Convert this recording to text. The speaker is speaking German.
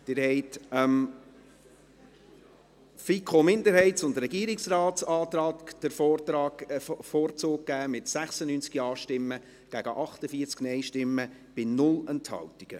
Sie haben dem Antrag der FiKo-Minderheit und des Regierungsrates den Vorzug gegeben, mit 96 Ja- gegen 48 Nein-Stimmen bei 0 Enthaltungen.